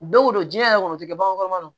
Don o don diɲɛ yɛrɛ kɔni o tɛ kɛ bagankɔrɔba don